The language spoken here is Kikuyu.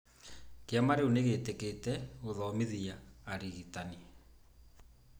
Kĩama rĩu nĩ gĩtĩkĩrĩte gũthomithia arigitani.